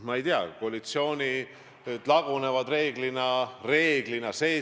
Ma ei tea, koalitsioonid lagunevad reeglina – reeglina!